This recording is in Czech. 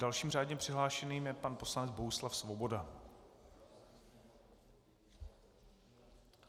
Dalším řádně přihlášeným je pan poslanec Bohuslav Svoboda.